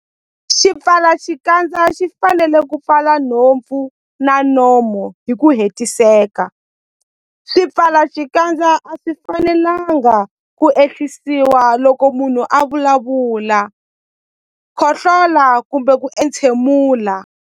Xipfalaxikandza xi fanele ku pfala nhompfu na nomo hi ku hetiseka. Swipfalaxikandza a swi fanelanga ku ehlisiwa loko munhu a vulavula, khohlola kumbe ku entshemula.